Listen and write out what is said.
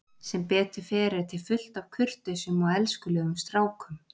Sem betur fer er til fullt af kurteisum og elskulegum strákum.